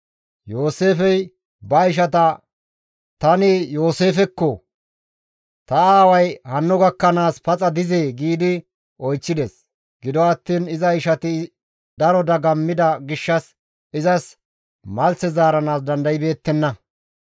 Yooseefey ba ishatas, «Tani Yooseefekko! Ta aaway hanno gakkanaas paxa dizee?» gi oychchides. Gido attiin iza ishati daro dagammida gishshas izas malthe zaaranaas dandaybeettenna.